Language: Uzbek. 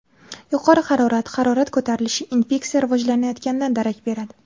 Yuqori harorat Harorat ko‘tarilishi infeksiya rivojlanayotganidan darak beradi.